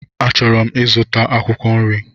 Achọrọ m ịzụta akwụkwọ nri.